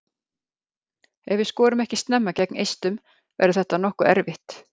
Ef við skorum ekki snemma gegn Eistum verður þetta nokkuð erfitt.